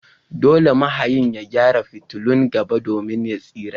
Dole mahayin ya gyara fitulun gaba domin ya tsira.